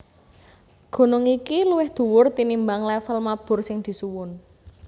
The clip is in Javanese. Gunung iki luwih dhuwur tinimbang lèvel mabur sing disuwun